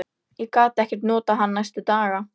Ég gat ekkert notað hann næstu daga.